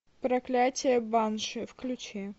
проклятие банши включи